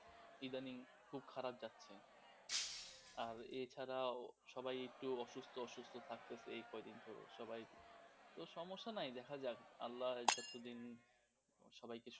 ইদানিং খুব খারাপ যাচ্ছে আর এছাড়াও সবাই একটু অসুস্থ অসুস্থ থাকতেছে কয়দিন ধরে, সবাই তো সমস্যা নাই দেখা যাক আল্লাহ যতদিন সবাইকে সুস্থ